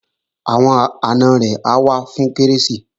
Àwọn àna rẹ̀ ó wá fún Kérésìmesì